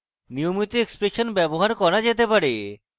নিয়মিত এক্সপ্রেশন ব্যবহার করা যেতে পারে